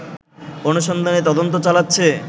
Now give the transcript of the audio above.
অনুসন্ধানে তদন্ত চালাচ্ছে